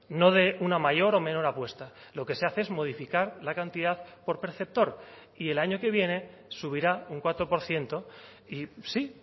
no de una mayor o menor apuesta lo que se hace es modificar la cantidad por perceptor y el año que viene subirá un cuatro por ciento y sí